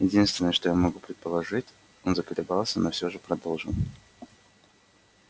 единственное что я могу предположить он заколебался но всё же продолжил